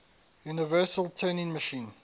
universal turing machine